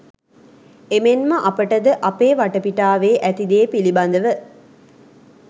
එමෙන්ම අපටද අපේ වටපිටාවේ ඇති දේ පිළිබඳව